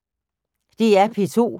DR P2